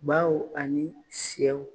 Baw ani sɛw